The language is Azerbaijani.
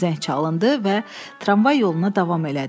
Zəng çalındı və tramvay yoluna davam elədi.